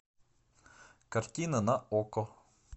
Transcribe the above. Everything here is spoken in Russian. картина на окко